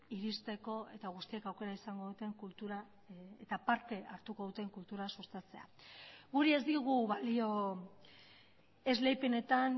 iristeko eta guztiek aukera izango duten kultura eta parte hartuko duten kultura sustatzea guri ez digu balio esleipenetan